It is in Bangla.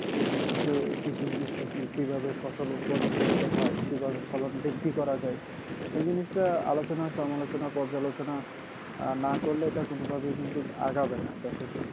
এ কৃষক এই কৃষি জিনিসটা কি কিভাবে ফসল উৎপাদন করতে হয় কিভাবে ফলন বৃদ্ধি করা যায় এই জিনিসটা আলোচনা সমালোচনা পর্যালোচনা আহ না করলে এটা কোনোভাবে কিন্তু আগাবে না